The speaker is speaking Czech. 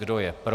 Kdo je pro?